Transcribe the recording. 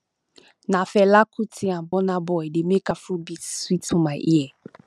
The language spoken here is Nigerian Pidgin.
na fela kuti and burna boy dey make afrobeat sweet for my ear